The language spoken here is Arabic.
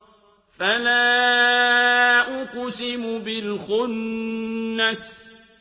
فَلَا أُقْسِمُ بِالْخُنَّسِ